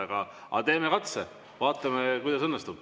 Aga teeme katse, vaatame, kuidas õnnestub.